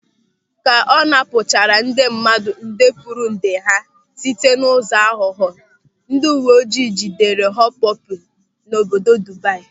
Ka ọ napụchara ndị mmadụ ndekpụrụnde ha site n'ụzọ aghụghọ, ndị uwe ojii jidere Họpọpị n'obodo Dubai.